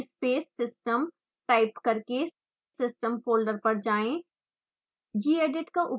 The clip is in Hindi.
अब cd space system टाइप करके system फोल्डर पर जाएँ